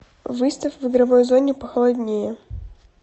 выставь в игровой зоне похолоднее